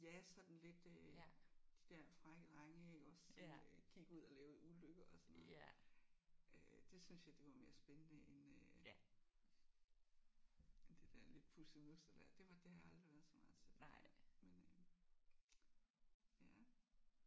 Ja sådan lidt øh de der frække drenge iggås som øh gik ud og lavede ulykker og sådan noget øh det syntes jeg det var mere spændende end øh end det der lidt pussenussede der. Det var det har jeg aldrig været så meget til det der men øh